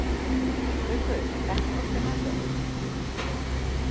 Gaukur, ekki fórstu með þeim?